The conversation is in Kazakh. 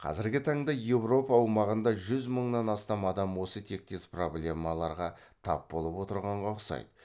қазіргі таңда еуропа аумағында жүз мыңнан астам адам осы тектес проблемаларға тап болып отырғанға ұқсайды